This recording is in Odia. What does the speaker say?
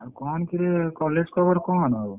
ଆଉ କଣ କିରେ college ଖବର କଣ? ଆଉ।